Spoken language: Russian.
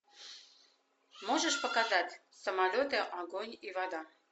можешь показать самолеты огонь и вода